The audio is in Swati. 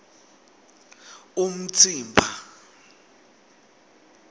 umtsimba